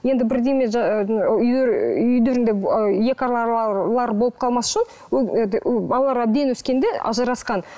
енді бірдеңе болып қалмас үшін балалар әбден өскенде ажырасқан